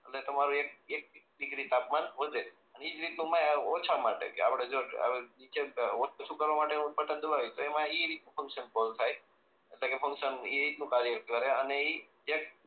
એટલે તમારું એક એક ડીગ્રી તાપમાન વધે અને એજ રીત નું ઓછા માટે કે આપણે નીચે હોત તો શું કરવા માટે નું બટન દબાવાનું ઈ એ રીત નું ફન્કશન કામ કરે